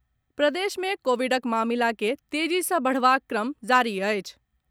प्रदेश में कोविडक मामिला के तेजी सँ बढबाक क्रम जारी अछि।